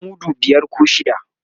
a dafa mudu biyar koh shida